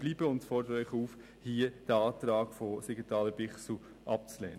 Deshalb fordern wir Sie auf, diesen Antrag Siegenthaler/Bichsel abzulehnen.